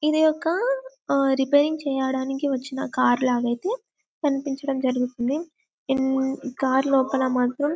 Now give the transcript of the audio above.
ఇది ఒక రిపేరింగ్ చెయ్యడానికి వచ్చిన కార్ లాగా ఐతే కనిపించడం జరుగుతున్నది ఈ కార్ లోపల మాత్రమ్